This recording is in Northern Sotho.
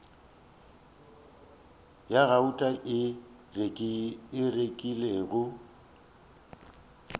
ya gauta a e rekilego